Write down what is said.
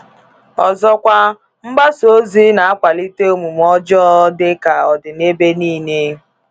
Ọzọkwa, mgbasa ozi na-akwalite omume ọjọọ dị ka ọ dị n’ebe niile.